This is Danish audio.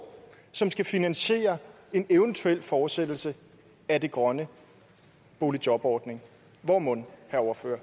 som skal finansiere en evt fortsættelse af den grønne boligjorbordning hvor mon